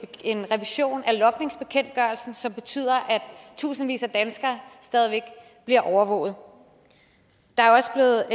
revision af logningsbekendtgørelsen som betyder at tusindvis af danskere stadig væk bliver overvåget der er også blevet